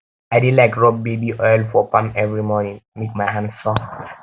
i dey like rob baby oil for palm every morning make my hand soft